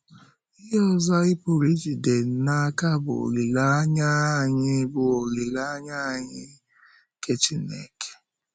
Ihe ọzọ anyị pụrụ ijide n’aka bụ́ olileanya anyị bụ́ olileanya anyị nke Chínkè.